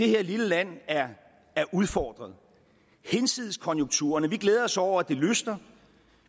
her lille land er udfordret hinsides konjunkturerne vi glæder os over at det lysner